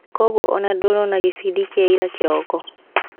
koguo ona ndũnona gĩbindi kĩa ira kĩroko?